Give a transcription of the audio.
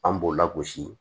An b'o lagosi